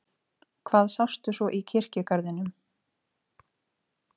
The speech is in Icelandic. Hvað sástu svo í kirkjugarðinum?